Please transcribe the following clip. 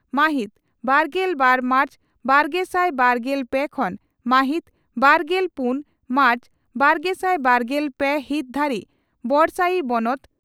ᱢᱟᱦᱤᱛ ᱵᱟᱨᱜᱮᱞ ᱵᱟᱨ ᱢᱟᱨᱪ ᱵᱟᱨᱜᱮᱥᱟᱭ ᱵᱟᱨᱜᱮᱞ ᱯᱮ ᱠᱷᱚᱱ ᱢᱟᱦᱤᱛ ᱵᱟᱨᱜᱮᱞ ᱯᱩᱱ ᱢᱟᱨᱪ ᱵᱟᱨᱜᱮᱥᱟᱭ ᱵᱟᱨᱜᱮᱞ ᱯᱮ ᱦᱤᱛ ᱫᱷᱟᱹᱨᱤᱡ ᱵᱚᱰᱥᱟᱹᱭᱤ ᱵᱚᱱᱚᱛ